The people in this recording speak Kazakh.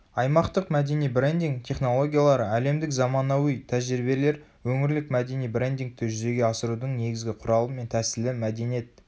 аймақтық мәдени брендинг технологиялары әлемдік заманауи тәжірибелер өңірлік мәдени брендингті жүзеге асырудың негізі құралы мен тәсілі мәдениет